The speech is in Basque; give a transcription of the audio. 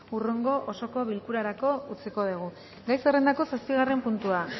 hurrengo osoko bilkurarako utziko dugu gai zerrendako zazpigarren puntua